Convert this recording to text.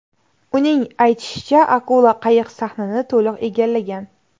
Uning aytishicha, akula qayiq sahnini to‘liq egallgan.